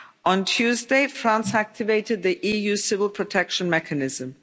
On Tuesday, France activated the EU Civil Protection Mechanism.